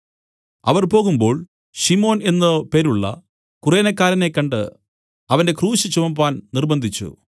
അവർ പോകുമ്പോൾ ശിമോൻ എന്നു പേരുള്ള കുറേനക്കാരനെ കണ്ട് അവന്റെ ക്രൂശ് ചുമപ്പാൻ നിര്‍ബ്ബന്ധിച്ചു